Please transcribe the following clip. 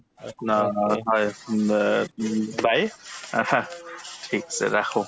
একো না হয় উম অ উম bye ৰাখা ঠিক আছে ৰাখো